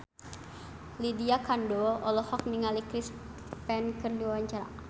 Lydia Kandou olohok ningali Chris Pane keur diwawancara